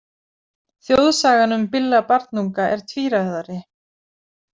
Þjóðsagan um Billa barnunga er tvíræðari.